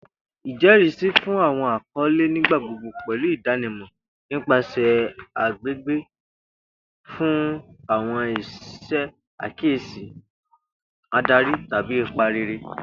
Ijẹrisi fun awọn akọle nigbagbogbo pẹlu idanimọ nipasẹ agbegbe fun awọn iṣe akiyesi, adari, tabi ipa rere.